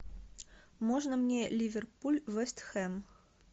можно мне ливерпуль вест хэм